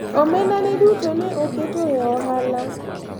omenda ne duto ne oketo e ohala